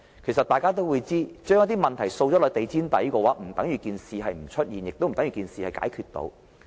其實大家也知道，把問題掃入地毯底，不等於事情沒有出現，也不等於事情已經解決。